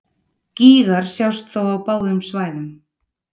Gígar sjást þó á báðum svæðum.